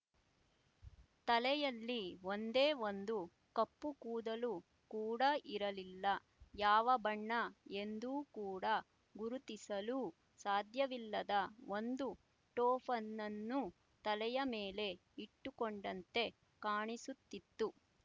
ತಲೆಯಲ್ಲಿ ಒಂದೇ ಒಂದು ಕಪ್ಪು ಕೂದಲು ಕೂಡ ಇರಲಿಲ್ಲ ಯಾವ ಬಣ್ಣ ಎಂದು ಕೂಡ ಗುರುತಿಸಲೂ ಸಾಧ್ಯವಿಲ್ಲದ ಒಂದು ಟೋಫನನ್ನು ತಲೆಯ ಮೇಲೆ ಇಟ್ಟುಕೊಂಡಂತೆ ಕಾಣಿಸುತ್ತಿತ್ತು